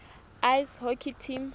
ice hockey team